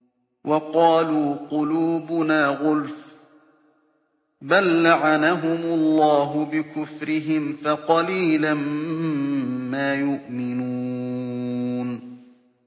وَقَالُوا قُلُوبُنَا غُلْفٌ ۚ بَل لَّعَنَهُمُ اللَّهُ بِكُفْرِهِمْ فَقَلِيلًا مَّا يُؤْمِنُونَ